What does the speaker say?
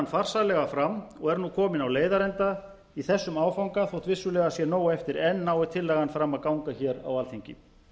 farsællega fram og er nú komin á leiðarenda í þessum áfanga þótt vissulega sé nóg eftir enn nái tillagan fram að ganga hér á alþingi